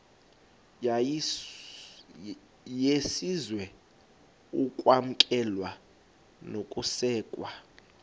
yesizwe ukwamkelwa nokusekwa